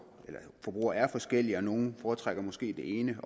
forbrugere er forskellige nogle foretrækker måske det ene